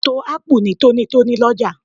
A to Ápù ní tónítóní lọ́jà